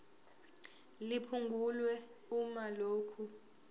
liphungulwe uma lokhu